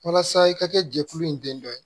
Walasa i ka kɛ jɛkulu in den dɔ ye